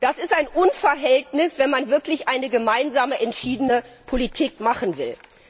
Das ist ein Unverhältnis, wenn man wirklich eine gemeinsame entschiedene Politik machen will.